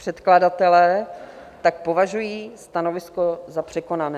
Předkladatelé tak považují stanovisko za překonané.